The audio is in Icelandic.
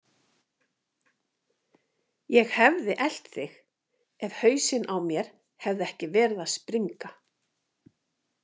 Ég hefði elt þig ef hausinn á mér hefði ekki verið að springa.